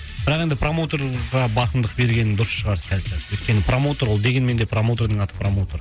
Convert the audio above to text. бірақ енді промоутерға басымдық берген дұрыс шығар сәл сәл өйткені промоутер ол дегенмен де промоутердің аты промутер